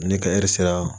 Ne ka sera